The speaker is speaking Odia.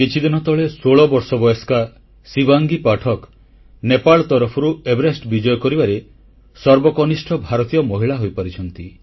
କିଛିଦିନ ତଳେ ଷୋଳ ବର୍ଷ ବୟସ୍କା ଶିବାଙ୍ଗୀ ପାଠକ ନେପାଳ ତରଫରୁ ଏଭେରେଷ୍ଟ ବିଜୟ କରିବାରେ ସର୍ବକନିଷ୍ଠ ଭାରତୀୟ ମହିଳା ହୋଇପାରିଛନ୍ତି